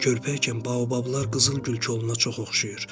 Körpə ikən baobablar qızıl gül koluna çox oxşayır.